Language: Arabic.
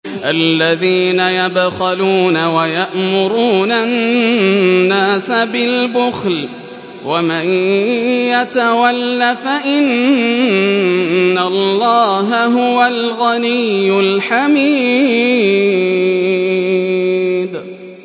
الَّذِينَ يَبْخَلُونَ وَيَأْمُرُونَ النَّاسَ بِالْبُخْلِ ۗ وَمَن يَتَوَلَّ فَإِنَّ اللَّهَ هُوَ الْغَنِيُّ الْحَمِيدُ